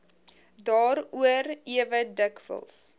daaroor ewe dikwels